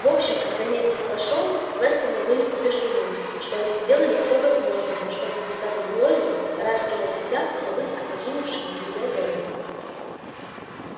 в общем когда месяц прошёл вестоны были убеждены что они сделали всё возможное чтобы заставить глорию раз и навсегда забыть о покинувшем её робби